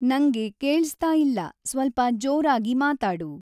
ನಂಗೆ ಕೇಳ್ಸ್ತಾ ಇಲ್ಲ ಸ್ವಲ್ಪ ಜೋರಾಗಿ ಮಾತಾಡು